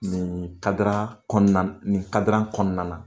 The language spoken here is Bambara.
Nin kadira nin kadiran kɔnɔna na.